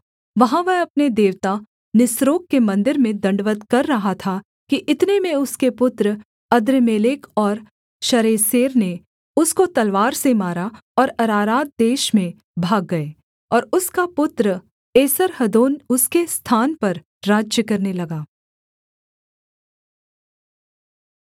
वहाँ वह अपने देवता निस्रोक के मन्दिर में दण्डवत् कर रहा था कि इतने में उसके पुत्र अद्रम्मेलेक और शरेसेर ने उसको तलवार से मारा और अरारात देश में भाग गए और उसका पुत्र एसर्हद्दोन उसके स्थान पर राज्य करने लगा